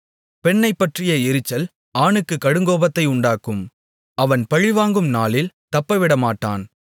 பெண்ணைப்பற்றிய எரிச்சல் ஆணுக்கு கடுங்கோபத்தை உண்டாக்கும் அவன் பழிவாங்கும் நாளில் தப்பவிடமாட்டான்